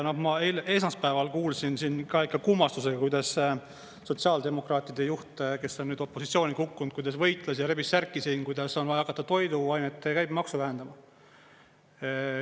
Ma esmaspäeval kuulsin siin ikka kummastusega, kuidas sotsiaaldemokraatide juht, kes on nüüd opositsiooni kukkunud, kuidas võitles ja rebis särki siin, kuidas on vaja hakata toiduainete käibemaksu vähendama.